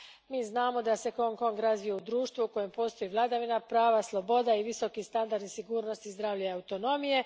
Mi znamo da se Hong Kong razvio u društvu u kojem postoji vladavina prava, sloboda i visoki standardi sigurnosti, zdravlja i autonomije.